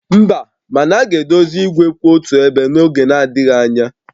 Mba, mana a ga-edozi igwe kwụ otu ebe n'oge adịghị anya